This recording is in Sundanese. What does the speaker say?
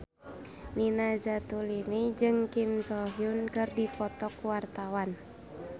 Nina Zatulini jeung Kim So Hyun keur dipoto ku wartawan